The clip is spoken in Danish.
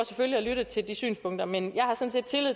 selvfølgelig at lytte til de synspunkter men jeg har sådan